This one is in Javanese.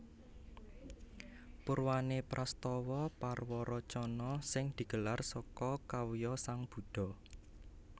Purwané prastawa parwaracana sing digelar saka kawya sang Buddha